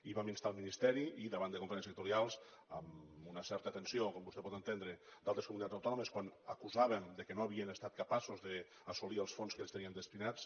i vam instar el ministeri i davant de conferències sectorials amb una certa tensió com vostè pot entendre d’altres comunitats autònomes quan acusàvem que no havien estat capaços d’assolir els fons que es tenien destinats